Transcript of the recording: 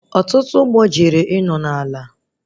Ọtụtụ ụgbọ jere ịnọ na ala